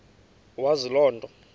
wazi loo nto